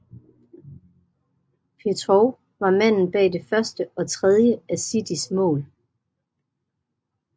Petrov var manden bag det første og tredje af Citys mål